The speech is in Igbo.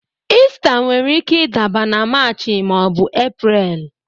Ista nwere ike ịdaba na Maachị maọbu Epreel